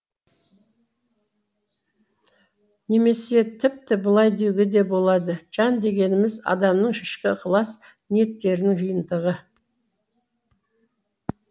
немесе тіпті былай деуге де болады жан дегеніміз адамның ішкі ықылас ниеттерінің жиынтығы